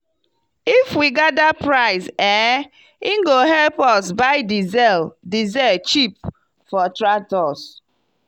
if we gather price eh e go help us buy diesel diesel cheap for tractors.